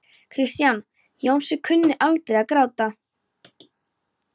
Kristján Jónsson kunni aldrei að gráta.